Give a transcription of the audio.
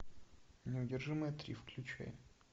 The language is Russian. неудержимые три включай